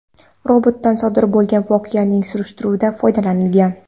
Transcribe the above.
Robotdan sodir bo‘lgan voqeaning surishtiruvida foydalanilgan.